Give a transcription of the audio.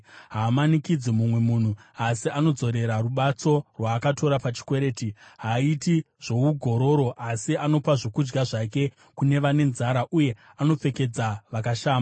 Haamanikidzi mumwe munhu, asi anodzorera rubatso rwaakatora pachikwereti. Haaiti zvougororo, asi anopa zvokudya zvake kune vane nzara uye anopfekedza vakashama.